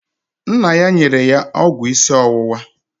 Nna ya nyere ya ọgwụ isi ọwụwa